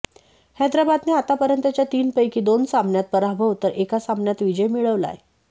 हैदराबादने आतापर्यंतच्या तीनपैकी दोन सामन्यात पराभव तर एका सामन्यात विजय मिळवलाय